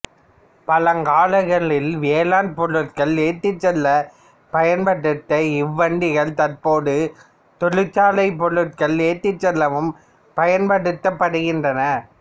பழங்காலங்களில் வேளாண் பொருட்களை ஏற்றிச் செல்லப் பயன்பட்ட இவ்வண்டிகள் தற்போது தொழிற்சாலைப் பொருட்களை ஏற்றிச் செல்லவும் பயன்படுத்தப்படுகின்றன